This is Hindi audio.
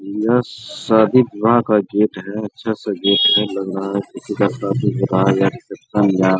यह शादी विवाह का गेट है अच्छा सा गेट है लग रहा है किसी का शादी विवाह या रिसेप्शन या --